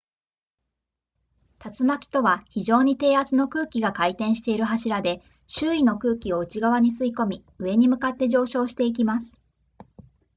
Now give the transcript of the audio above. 竜巻とは非常に低圧の空気が回転している柱で周囲の空気を内側に吸い込み上に向かって上昇していきます